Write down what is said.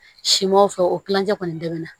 Simanw fɛ o kilancɛ kɔni dɛmɛ na